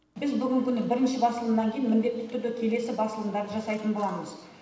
біз бүгінгі күні бірінші басылымнан кейін міндетті түрде келесі басылымдарды жасайтын боламыз